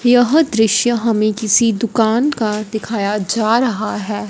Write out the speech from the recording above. यह दृश्य हमें किसी दुकान का दिखाया जा रहा है।